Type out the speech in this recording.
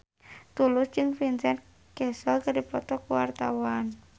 Tulus jeung Vincent Cassel keur dipoto ku wartawan